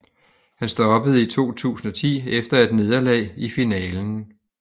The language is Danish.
Han stoppede i 2010 efter et nederlag i finalen